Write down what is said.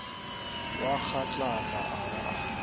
wa kgatlana a ba a